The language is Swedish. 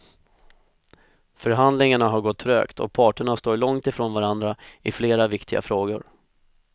Förhandlingarna har gått trögt och parterna står långt ifrån varandra i flera viktiga frågor.